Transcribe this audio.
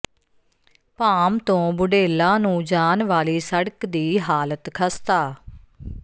ਭਾਮ ਤੋਂ ਬੁਢੇਲਾ ਨੂੰ ਜਾਣ ਵਾਲੀ ਸੜਕ ਦੀ ਹਾਲਤ ਖ਼ਸਤਾ